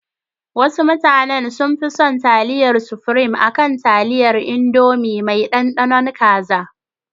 Wasu mutanen sun fi son taliyar sufurim akan taliyar indomi mai ɗanɗanon kaza